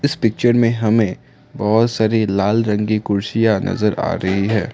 इस पिक्चर में हमें बहुत सारी लाल रंग की कुर्सियां नजर आ रही है।